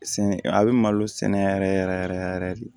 Sɛ a bɛ malo sɛnɛ yɛrɛ yɛrɛ yɛrɛ de